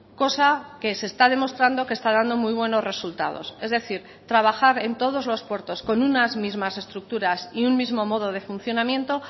cosa que se está demostrando que está dando muy buenos resultados es decir trabajar en todos los puertos con unas mismas estructuras y un mismo modo de funcionamiento